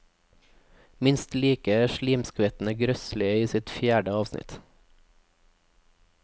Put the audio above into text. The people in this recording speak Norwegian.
Minst like slimskvettende grøsselig i dette sitt fjerde avsnitt.